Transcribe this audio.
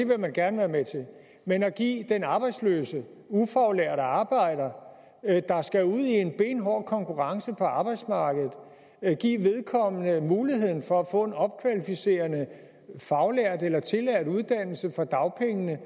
vil man gerne være med til men at give den arbejdsløse ufaglærte arbejder der skal ud i en benhård konkurrence på arbejdsmarkedet en mulighed for at få en opkvalificerende faglært eller tillært uddannelse for dagpengene